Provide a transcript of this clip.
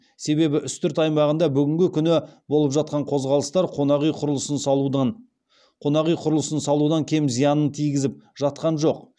себебі үстірт аймағында бүгінгі күні болып жатқан қозғалыстар қонақ үй құрылысын салудан кем зиянын тигізіп жатқан жоқ